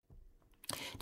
DR1